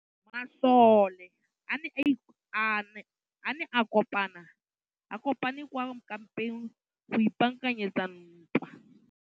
Masole a ne a kopane kwa kampeng go ipaakanyetsa ntwa.